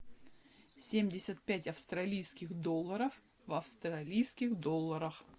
семьдесят пять австралийских долларов в австралийских долларах